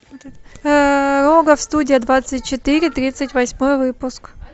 рогов студия двадцать четыре тридцать восьмой выпуск